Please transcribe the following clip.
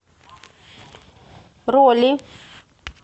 роли